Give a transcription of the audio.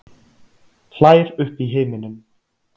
Hlær upp í himininn.